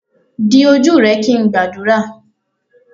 di oju rẹ kin ngbadura.